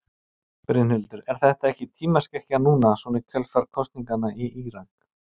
Brynhildur: Er þetta ekki tímaskekkja núna svona í kjölfar kosninganna í Írak?